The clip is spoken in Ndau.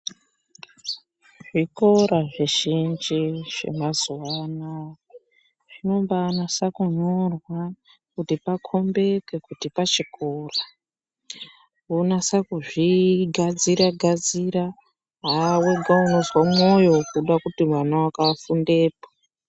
Zvikora zvizhinji zvemazuva ano zvinombanyasa kunyorwa kuti pakombike kuti pachikora. Vonasa kuzvigadzira-gadzira, haa vega unozwe mwoyo kuda kuti mwana vako afundepo.